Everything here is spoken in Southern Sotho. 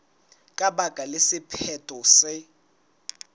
ka baka la sephetho se